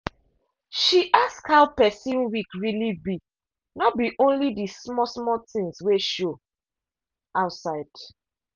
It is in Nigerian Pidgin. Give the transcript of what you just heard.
she ask how person week really be no be only the small small things wey show outside.